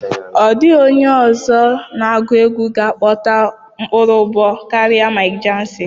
Ọ dịghị onye ọzọ na-agụ egwu ga akpọta ụkpụrụ ụbọ akwara Mike Ejeagha.